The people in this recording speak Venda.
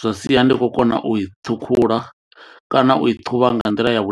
zwa sia ndi kho kona u i ṱhukhula kana u i thuvha nga nḓila ya.